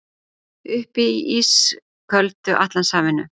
Uppi í ísköldu Atlantshafinu.